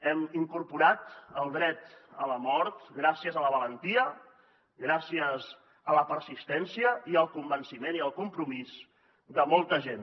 hem incorporat el dret a la mort gràcies a la valentia gràcies a la persistència i al convenciment i al compromís de molta gent